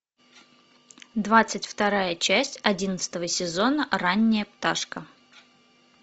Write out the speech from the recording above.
двадцать вторая часть одиннадцатого сезона ранняя пташка